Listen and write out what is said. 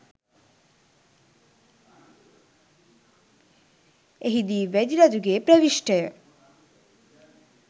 එහිදී වැදි රජුගේ ප්‍රවිශ්ටය